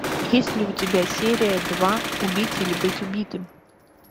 есть ли у тебя серия два убить или быть убитым